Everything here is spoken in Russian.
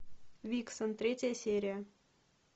виксен третья серия